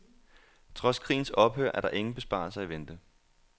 Trods krigens ophør er der ingen besparelser i vente.